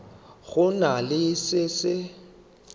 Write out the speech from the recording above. go na le se se